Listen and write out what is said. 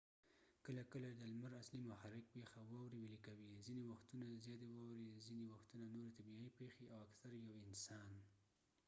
کله کله د لمر اصلي محرک پيښه واوري ويلې کوې ځینې وختونه زياتي واورې ځینې وختونه نورې طبیعي پیښې اکثر یو انسان